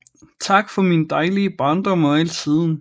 Tak for min dejlige Barndom og alt siden